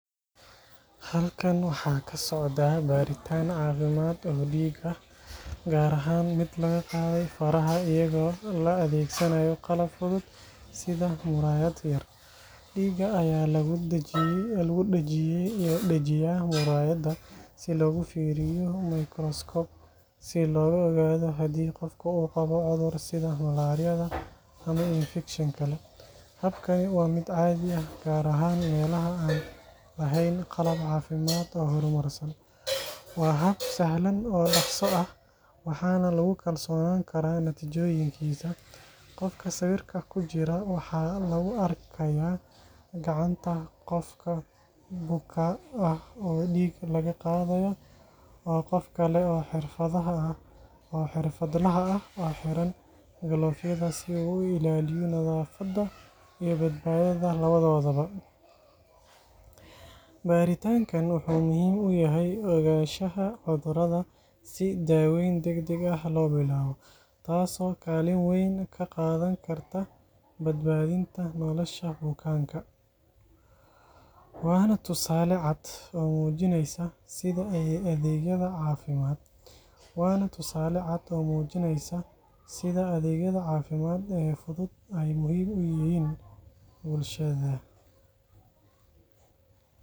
Halkan waxa ka socda baaritaan caafimaad oo dhiig ah, gaar ahaan mid laga qaaday faraha iyadoo la adeegsanayo qalab fudud sida muraayad yar. Dhiigga ayaa lagu dhajiyaa muraayadda si loogu fiiriyo mikroskoob si loo ogaado haddii qofka uu qabo cudur sida malaariyada ama infekshan kale. Habkani waa mid caadi ah, gaar ahaan meelaha aan lahayn qalab caafimaad oo horumarsan. Waa hab sahlan oo dhaqso ah, waxaana lagu kalsoonaan karaa natiijooyinkiisa. Qofka sawirka ku jira waxaa lagu arkayaa gacanta qof buka ah oo dhiig laga qaaday iyo qof kale oo xirfadlaha ah oo xiran galoofyada si uu u ilaaliyo nadaafadda iyo badbaadada labadoodaba. Baaritaankan wuxuu muhiim u yahay ogaanshaha cudurrada si daaweyn degdeg ah loo bilaabo, taasoo kaalin weyn ka qaadan karta badbaadinta nolosha bukaanka. Waana tusaale cad oo muujinaya sida adeegyada caafimaad ee fudud ay muhiim u yihiin bulshada.